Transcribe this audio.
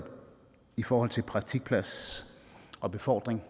i forhold til praktikpladser og befordring